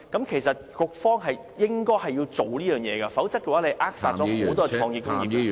其實，局長是應該做好這件事情，否則便會扼殺很多創意工業......